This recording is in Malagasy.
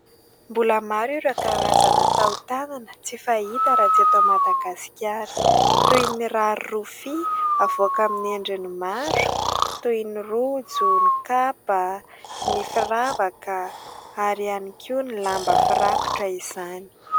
Mbola maro ireo karazana tao-tanana tsy fahita raha tsy eto Madagasikara. Toy ny rary rofia avoaka amin'ny endriny maro toy ny rojo, ny kapa, ny firavaka ary ihany koa ny lamba firakotra izany.